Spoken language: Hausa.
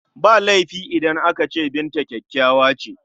Ba laifi idan aka ce Binta kyakkyawa ce..